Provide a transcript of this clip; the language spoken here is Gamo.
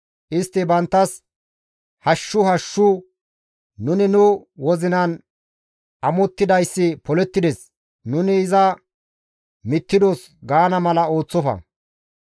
Istti banttas, «Hashshu, hashshu, nuni nu wozinan amottidayssi polettides; nuni iza mittidos» gaana mala ooththofa.